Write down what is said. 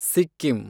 Sikkim